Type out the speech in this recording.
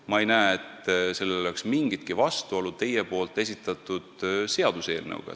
Ma ei näe, et sellel oleks mingitki vastuolu teie esitatud seaduseelnõuga.